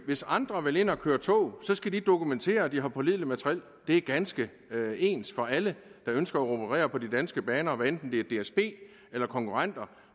hvis andre vil ind at køre tog skal de dokumentere at de har pålideligt materiel det er ganske ens for alle der ønsker at operere på de danske baner hvad enten det er dsb eller konkurrenter